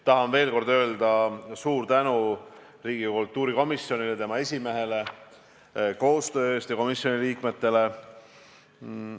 Tahan veel kord öelda suur tänu Riigikogu kultuurikomisjoni esimehele ja liikmetele koostöö eest.